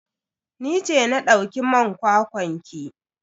Ni ce na dauki man kwakwan ki.